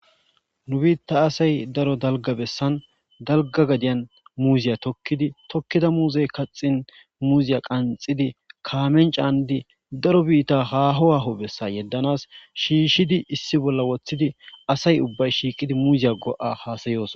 Nu bita asay daro dalga besan dalga gadiyan muziya tokidi tokida muze kaxin muziya qaxidi kamen canidi daro bita haho haho besa yedanas shishidi issi bolla wothidi asay ubbay shiiqi muzay go'a hasayosona